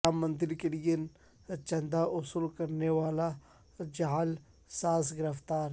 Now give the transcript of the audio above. رام مندر کے لئے چندہ وصول کرنے والا جعل ساز گرفتار